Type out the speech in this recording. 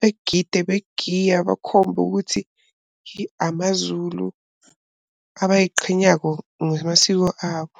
begida, begiya, bakhombe ukuthi amaZulu abay'qhenyako ngamasiko abo.